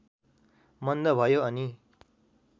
मन्द भयो अनि